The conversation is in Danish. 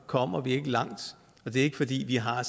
kommer vi ikke langt det er ikke fordi vi har